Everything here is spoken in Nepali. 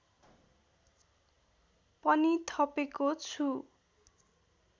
पनि थपेको छु